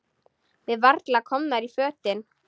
Við varla komnar í fötin.